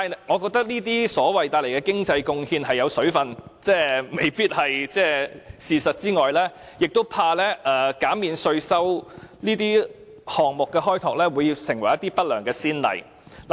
我覺得除了這些經濟貢獻不盡不實之外，亦擔心減免這些項目的稅收，會成為不良的先例。